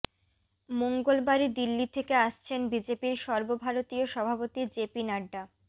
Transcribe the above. মঙ্গলবারই দিল্লি থেকে আসছেন বিজেপির সর্বভারতীয় সভাপতি জেপি নাড্ডা